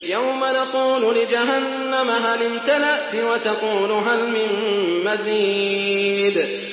يَوْمَ نَقُولُ لِجَهَنَّمَ هَلِ امْتَلَأْتِ وَتَقُولُ هَلْ مِن مَّزِيدٍ